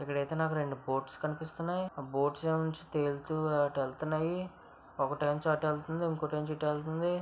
ఇక్కడ అయితే నాకు రెండు బోట్స్ కనిపిస్తున్నాయి ఆ బోట్స్ నుంచి తేలుతూ అటు వెళ్తున్నాయి ఒకటి చోట వెళ్తుంది ఇంకొకటి ఇటు నుంచి ఇటు వెళ్తుంది--